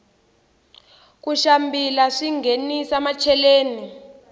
ku xambila swinghenisa macheleni